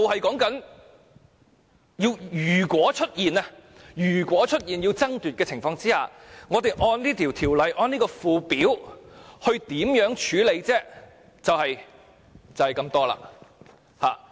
辯論議題是，如果出現要爭奪的情況，我們按這項《條例草案》中的附表，可以如何處理呢？